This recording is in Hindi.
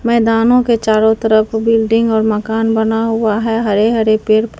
मैदाने के चारों तरफ बिल्डिंग और मकान बना हुआ है हरे हरे पेड़--